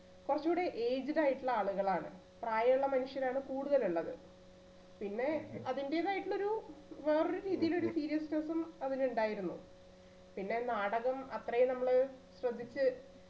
കൊറച്ചു കൂടി aged ആയിട്ടുള്ള ആളുകളാണ് പ്രായമുള്ള മനുഷ്യരാണ് കൂടുതൽ ഉള്ളത് പിന്നെ അതിന്റേതായിട്ടുള്ള ഒരു വേറൊരു രീതിയിലൊരു seriousness ഉം അതിൽ ഉണ്ടായിരുന്നു പിന്നെ നാടകം അത്രേം നമ്മള് ശ്രദ്ധിച്ചു